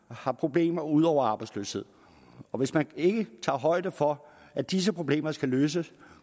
har problemer ud over arbejdsløsheden og hvis man ikke tager højde for at disse problemer skal løses